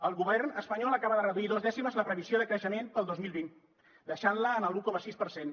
el govern espanyol acaba de reduir dues dècimes la previsió de creixement per al dos mil vint i la deixa en l’un coma sis per cent